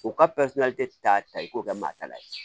U ka ta i k'o kɛ maa ta la ye